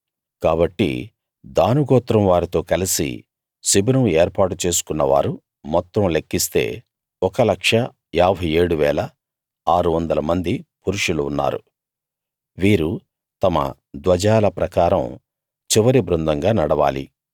కాబట్టి దాను గోత్రం వారితో కలసి శిబిరం ఏర్పాటు చేసుకున్న వారు మొత్తం లెక్కిస్తే 1 57 600 మంది పురుషులు ఉన్నారు వీరు తమ ధ్వజాల ప్రకారం చివరి బృందంగా నడవాలి